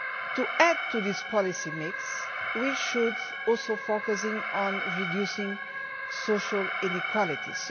To add to this policy mix, we should also focus on reducing social inequalities.